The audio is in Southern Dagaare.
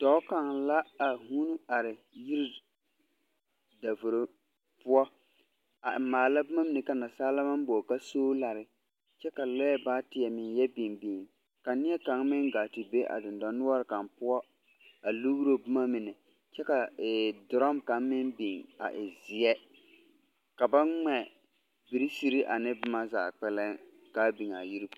Dͻͻ kaŋ la a vuuni are yiri davoro poͻ. A maala boma mine ka nansaalaa maŋ boͻle ka soolare kyԑ ka lͻԑ baateԑ meŋ yԑ biŋ biŋ. Ka neԑkaŋ meŋ gaa te a dendͻnoͻre kaŋ poͻ a lugiro boma mine, kyԑ ka ee dorͻm ka meŋ biŋ a e zeԑ. Ka ba mԑ birikyie zaa ka a biŋ a yiri poͻ.